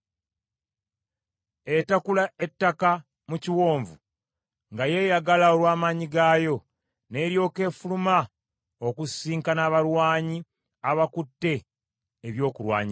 Etakula ettaka mu kiwonvu, nga yeeyagala olw’amaanyi gaayo, n’eryoka efuluma okusisinkana abalwanyi abakutte ebyokulwanyisa.